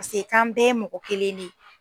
Pase kan bɛɛ ye mɔgɔ kelen de ye.